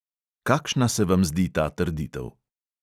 Kakšna se vam zdi ta trditev?